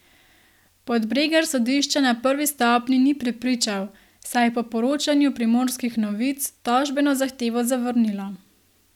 Podbregar sodišča na prvi stopnji ni prepričal, saj je po poročanju Primorskih novic tožbeno zahtevo zavrnilo.